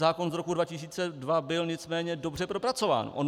Zákon z roku 2002 byl nicméně dobře propracován.